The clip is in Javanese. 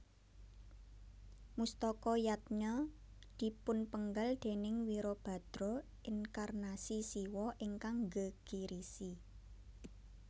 Mustaka Yadnya dipunpenggal déning Wirabadra inkarnasi Siwa ingkang nggegirisi